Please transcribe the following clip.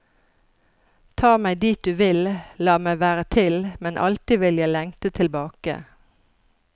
Ta meg dit du vil, la meg være til, men alltid vil jeg lengte tilbake.